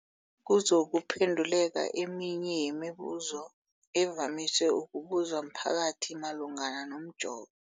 kuzokuphe nduleka eminye yemibu zo evamise ukubuzwa mphakathi malungana nomjovo.